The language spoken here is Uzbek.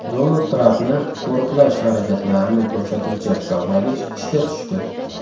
Donald Trampni qo‘riqlash xarajatlarini ko‘rsatuvchi hisoblagich ishga tushdi.